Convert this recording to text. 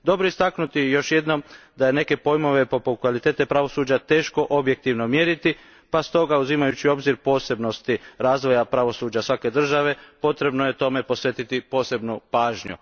Dobro je još jedanput istaknuti da je neke pojmove poput kvalitete pravosuđa teško objektivno mjeriti pa stoga, uzimajući u obzir posebnosti razvoja pravosuđa svake države, potrebno je tome posvetiti posebnu pažnju.